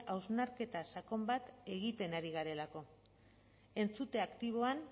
hausnarketa sakon bat egiten ari garelako entzute aktiboan